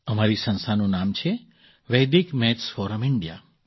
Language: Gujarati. અમારી સંસ્થાનું નામ છે વેદિક મેથ્સ ફૉરમ ઇન્ડિયા